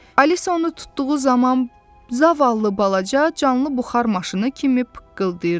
Alisa onu tutduğu zaman zavallı balaca canlı buxar maşını kimi pıqqıldayırdı.